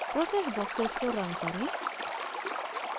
processes boxes को रंग करें